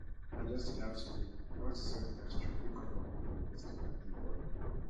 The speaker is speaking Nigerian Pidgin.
i just dey laugh today unto say all the dance troupe wey come perform for the festival dey funny